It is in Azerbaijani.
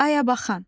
Ayabaxan.